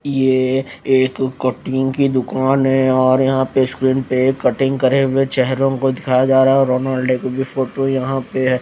ये एक कॉटिंग की दूकान है और यहाँ पे स्क्रीन पे कटिंग करे हुए चेहरों को दिखाया जा रहा है और रोनॉल्डो की फोटो भी यहाँ पे है।